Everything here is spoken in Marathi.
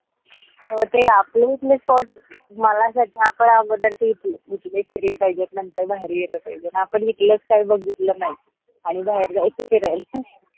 हो ते आपल्या इथले spots झाडाचा साफळा घुमले फिरले पाहिजेत नंतर बाहेर यायला पाहिजेत म आपन इकलच काई बघितल नाई आणि बाहेर जायच फिरायला